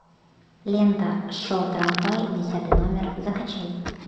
лента шел трамвай десятый номер закачай